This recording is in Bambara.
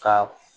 Ka